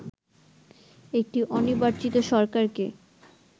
একটি অনির্বাচিত সরকারকে